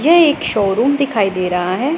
यह एक शोरूम दिखाई दे रहा है।